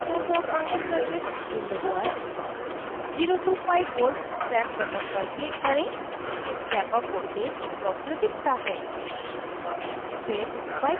transient response of rc circuit window पर 0 to 5v step button पर click करें